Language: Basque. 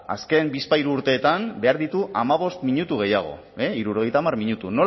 azken bizpahiru urteetan behar ditu hamabost minutu gehiago hirurogeita hamar minutu